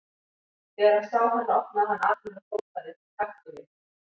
Þegar hann sá hana opnaði hann arminn og hrópaði: Taktu mig!